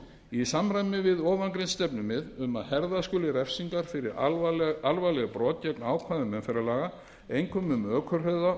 í samræmi við ofangreind stefnumið um að herða skuli refsingar fyrir alvarleg brot gegn ákvæðum umferðarlaga einkum um ökuhraða